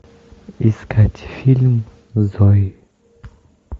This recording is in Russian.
искать фильм зои